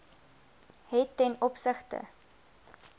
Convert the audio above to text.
het ten opsigte